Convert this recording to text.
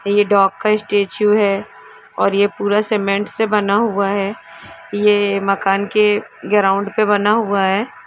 ये डॉग का स्टेचू है और ये पूरा सीमेन्ट से बना हुआ है ये मकान के ग्राउड़ पे बना हुआ है।